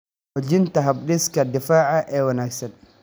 Xoojinta habdhiska difaaca ee wanaagsan.